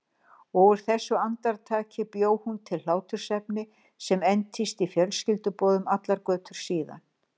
Og úr þessu andartaki bjó hún til hlátursefni sem entist í fjölskylduboðum allar götur síðan